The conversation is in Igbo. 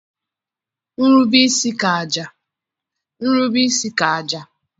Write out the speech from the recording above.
nrube-isi ka àjà.